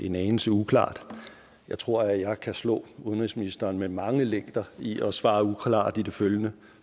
en anelse uklart jeg tror jeg kan slå udenrigsministeren med mange længder i at svare uklart i det følgende